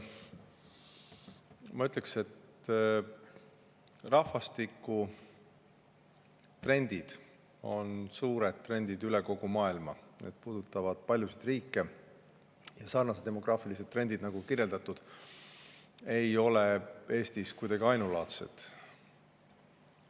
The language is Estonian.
Ma ütleks, et rahvastikutrendid on suured trendid üle kogu maailma, need puudutavad paljusid riike ja sellised demograafilised trendid, nagu kirjeldatud, ei ole Eestis kuidagi ainulaadsed.